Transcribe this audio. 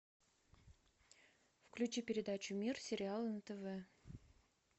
включи передачу мир сериала на тв